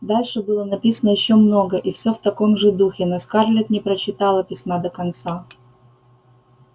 дальше было написано ещё много и все в таком же духе но скарлетт не прочитала письма до конца